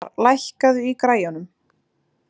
Bjarmar, lækkaðu í græjunum.